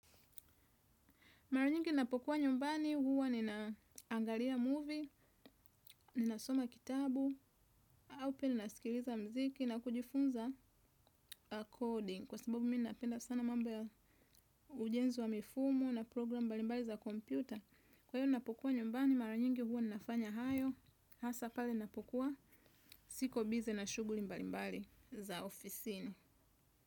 Mara nyingi ninapokuwa nyumbani huwa ninaangalia movie, ninasoma kitabu, au pia ninasikiliza muziki na kujifunza coding. Kwa sababu mi napenda sana mambo ya ujenzi wa mifumo na programu mbalimbali za kompyuta. Kwa hiyo ninapokuwa nyumbani, mara nyingi huwa ninafanya hayo, hasa pale napokuwa, siko bize na shughuli mbalimbali za ofisini.